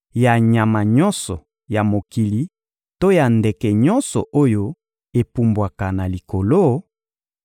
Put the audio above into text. ya nyama nyonso ya mokili to ya ndeke nyonso oyo epumbwaka na likolo,